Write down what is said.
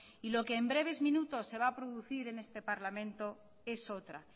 y lo que en breves minutos se va a producir en este parlamento es otra